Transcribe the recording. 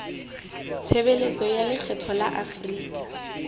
tshebeletso ya lekgetho ya afrika